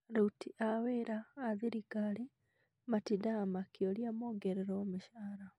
Aruti a wĩra a thirikari matindaga makĩũria mongererwo mĩcara